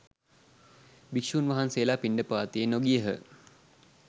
භික්‍ෂූන් වහන්සේලා පිණ්ඩපාතයේ නොගියහ.